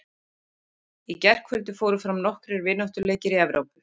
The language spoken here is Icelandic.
Í gærkvöldi fóru fram nokkrir vináttuleikur í Evrópu.